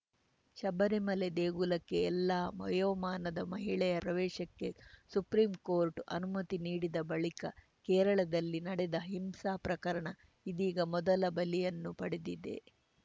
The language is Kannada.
ಶಬರಿಮಲೆ ದೇಗುಲಕ್ಕೆ ಎಲ್ಲಾ ವಯೋಮಾನದ ಮಹಿಳೆಯರ ಪ್ರವೇಶಕ್ಕೆ ಸುಪ್ರೀಂಕೋರ್ಟ್‌ ಅನುಮತಿ ನೀಡಿದ ಬಳಿಕ ಕೇರಳದಲ್ಲಿ ನಡೆದ ಹಿಂಸಾ ಪ್ರಕರಣ ಇದೀಗ ಮೊದಲ ಬಲಿಯನ್ನು ಪಡೆದಿದೆ